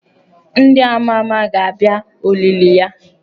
Ndị ama ama ga-abịa olili ya.